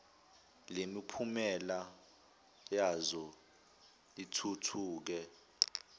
lemiphumela yazo lithuthuke